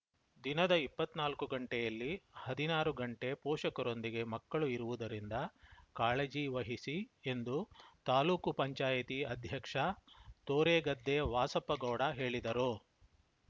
ದಿನದ ಇಪ್ಪತ್ತ್ ನಾಲ್ಕು ಗಂಟೆಯಲ್ಲಿ ಹದಿನಾರು ಗಂಟೆ ಪೋಷಕರೊಂದಿಗೆ ಮಕ್ಕಳು ಇರುವುದರಿಂದ ಕಾಳಜಿ ವಹಿಸಿ ಎಂದು ತಾಲೂಕು ಪಂಚಾಯಿತಿ ಅಧ್ಯಕ್ಷ ತೋರೆಗದ್ದೆ ವಾಸಪ್ಪಗೌಡ ಹೇಳಿದರು